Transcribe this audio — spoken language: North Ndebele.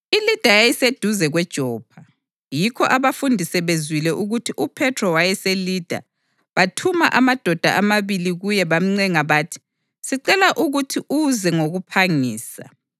ILida yayiseduze kweJopha; yikho abafundi sebezwile ukuthi uPhethro wayeseLida, bathuma amadoda amabili kuye bamncenga bathi, “Sicela ukuthi uze ngokuphangisa!”